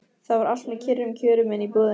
Það var allt með kyrrum kjörum inni í íbúðinni.